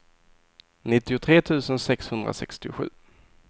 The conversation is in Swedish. nittiotre tusen sexhundrasextiosju